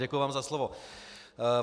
Děkuji vám za slovo.